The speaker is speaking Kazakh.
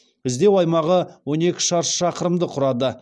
іздеу аймағы он екі шаршы шақырымды құрады